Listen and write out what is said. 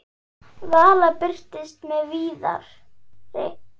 Vala birtist með Viðari.